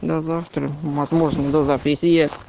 до завтра возможно до завтра если я